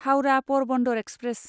Howrah Porbandar express